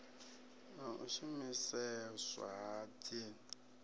na u shumiseswa ha dzin